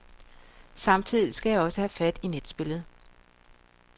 Samtidig skal jeg også have fat i netspillet.